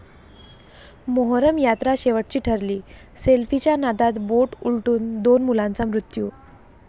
मोहरम यात्रा शेवटची ठरली, सेल्फीच्या नादात बोट उलटून दोन मुलांचा मृत्यू